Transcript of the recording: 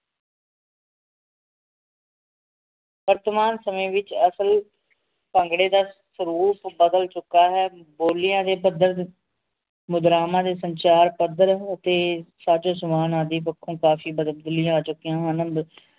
ਵਰਤਮਾਨ ਸਮੇਂ ਵਿਚ ਅਸਲ ਭੰਗੜੇ ਦਾ ਸਰੂਪ ਬਦਲ ਚੁੱਕਾ ਹੈ ਬੋਲੀਆਂ ਦੇ ਪੱਧਰ ਮੁਦਰਾਵਾਂ ਦੇ ਸੰਚਾਰ ਪੱਧਰ ਤੇ ਸਜ ਸਮਾਂ ਆਦਿ ਪੱਖੋਂ ਕਾਫੀ ਆ ਚੁਕੀਆਂ ਹਨ